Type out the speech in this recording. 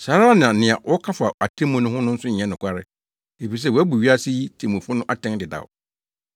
Saa ara na nea wɔka fa atemmu ho no nso nyɛ nokware, efisɛ wɔabu wiase yi temmufo no atɛn dedaw.